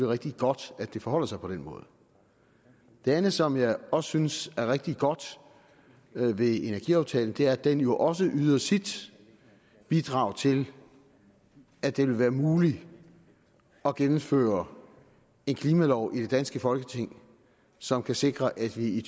rigtig godt at det forholder sig på den måde det andet som jeg også synes er rigtig godt ved energiaftalen er at den jo også yder sit bidrag til at det vil være muligt at gennemføre en klimalov i det danske folketing som kan sikre at vi i